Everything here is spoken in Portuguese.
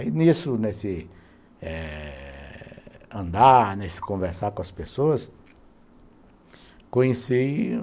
Aí, nesse andar, nesse conversar com as pessoas, conheci